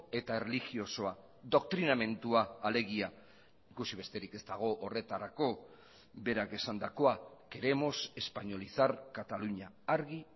eta erlijiosoa doktrinamendua alegia ikusi besterik ez dago horretarako berak esandakoa queremos españolizar cataluña argi